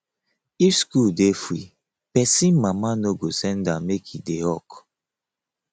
if school dey free pesin mama no go send am make e dey hawk